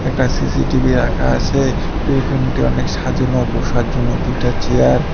একটা সি_সি_টি_ভি রাখা আছে বেডরুমটি অনেক সাজানো ও বোসার জন্য দুইটা চেয়ার --